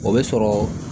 O bɛ sɔrɔ